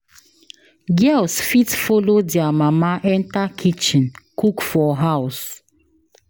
Girls fit follow their mama enter kitchen cook for house